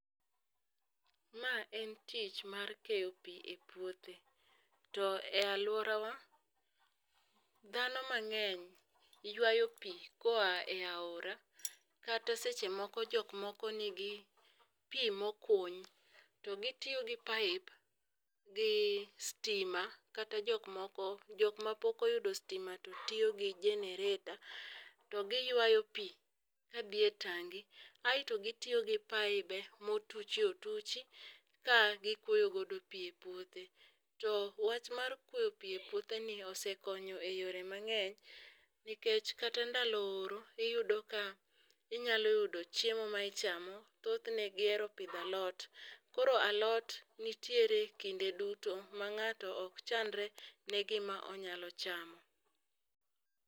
Ma en tich mar keyo pii e puothe to e aluorawa dhano mang'eny ywayo pii koa e aora kata seche moko jok moko nigi pii mokuny. To gitiyo gi pipe gi stima kata jok moko jok ma pok oyudo stima to tiyo gi generator to giywayo pii ka dhie tangi aeto gitiyo gi paibe motuchi ituchi ka gikuoyo godo pii e puothe .To wach mar kuoyo pii e puothe ni osekonyo e yore mang'eny nikech kata ndalo oro iyudo ka inyalo yudo chiemo ma ichamo . Thothne gihero pidho alot , koro alot nitire kinde duto ma ng'ato ok chandre ne gima onyalo chamo.